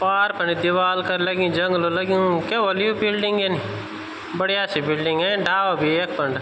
पार फर दिवाल कन लगीं जंगलो लग्यूं क्या होलु यू बिल्डिंग यन बडिया सि बिल्डिंग डाला बि यखफंड।